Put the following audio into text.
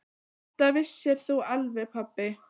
Þetta vissir þú alveg pabbi.